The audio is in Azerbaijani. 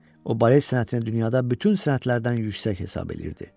O balet sənətini dünyada bütün sənətlərdən yüksək hesab edirdi.